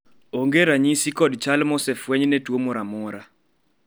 onge ranyisi kod chal mosefweny ne tuo moro amora